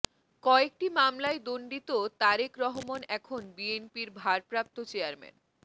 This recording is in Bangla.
কয়েকটি মামলায় দন্ডিত তারেক রহমান এখন বিএনপির ভারপ্রাপ্ত চেয়ারম্যান